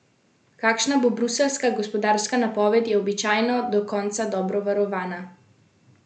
Kakšna bo bruseljska gospodarska napoved, je običajno do konca dobro varovana skrivnost.